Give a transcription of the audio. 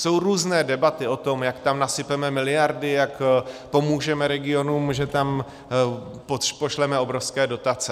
Jsou různé debaty o tom, jak tam nasypeme miliardy, jak pomůžeme regionům, že tam pošleme obrovské dotace.